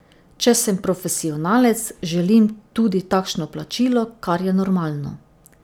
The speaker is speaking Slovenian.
Če sem profesionalec, želim tudi takšno plačilo, kar je normalno.